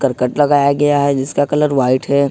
करकट लगाया गया है जिसका कलर व्हाइट है।